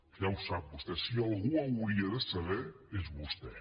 ja ho sap vostè si algú ho hauria de saber és vostè